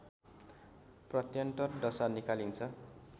प्रत्यन्तर दशा निकालिन्छ